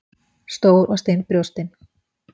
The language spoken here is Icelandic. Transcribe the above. Stór og stinn brjóstin.